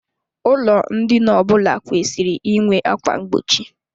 Ụlọ ndina ọbụla kwesịrị inwe ákwà mgbochi.